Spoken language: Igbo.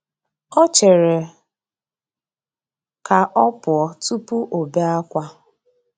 O chere ka ọ pụọ tụpụ ọbe akwa.